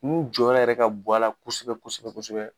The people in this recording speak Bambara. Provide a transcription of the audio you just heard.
Mun jɔnyɔrɔ yɛrɛ ka bon a la kosɛbɛ kosɛbɛ kosɛbɛ